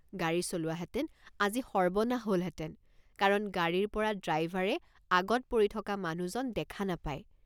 গাড়ী চলোৱাহেঁতেন আজি সৰ্বনাশ হলহেঁতেন কাৰণ গাড়ীৰপৰা ড্ৰাইভাৰে আগত পৰি থকা মানুহজন দেখা নাপায়।